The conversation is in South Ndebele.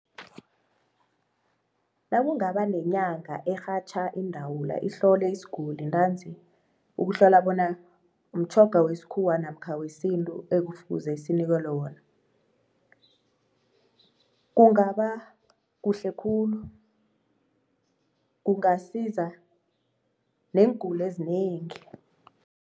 Nakungaba nenyanga erhatjha iindawula ihlole isiguli ntanzi ukuhlola bona mtjhoga wesikhuwa namkha wesintu ekufuze sinikelwe wona, kungaba kuhle khulu kungasiza neenguli ezinengi.